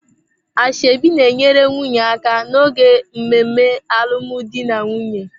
Ashebi na-enyere nwunye aka n'oge mmemme alụmdi na nwunye.